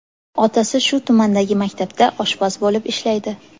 Otasi shu tumandagi maktabda oshpaz bo‘lib ishlaydi.